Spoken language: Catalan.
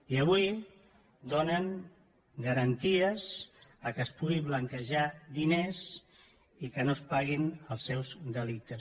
i avui donen garanties que es puguin blanquejar diners i que no es paguin els seus delictes